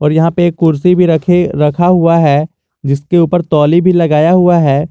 यहां पे एक कुर्सी भी रखे रखा हुआ है जिसके ऊपर तौली भी लगाया हुआ है।